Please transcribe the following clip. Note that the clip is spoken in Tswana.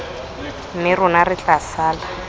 mme rona re tla sala